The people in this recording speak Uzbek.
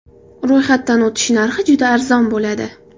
Ro‘yxatdan o‘tish narxi juda arzon bo‘ladi.